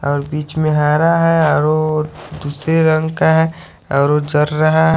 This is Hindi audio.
और बीच में हरा है और वो दूसरे रंग का है और वो चर रहा है।